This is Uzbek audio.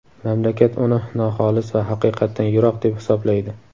mamlakat uni noxolis va haqiqatdan yiroq deb hisoblaydi.